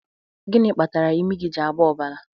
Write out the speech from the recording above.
Gịnị kpatara imi gị ji agba ọbara?